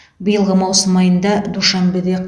биылғы маусым айында душанбеде